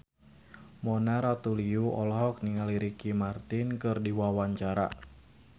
Mona Ratuliu olohok ningali Ricky Martin keur diwawancara